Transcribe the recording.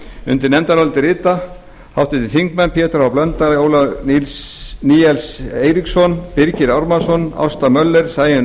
undir nefndarálitið rita háttvirtir þingmenn pétur h blöndal ólafur níels eiríksson birgir ármannsson ásta möller sæunn